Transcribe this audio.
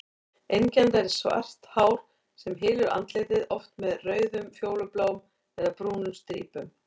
Einkennandi er svart hár sem hylur andlitið, oft með rauðum, fjólubláum eða brúnum strípum.